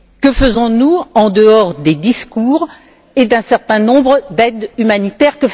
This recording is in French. Que faisons nous en dehors des discours et d'un certain nombre d'actions humanitaires?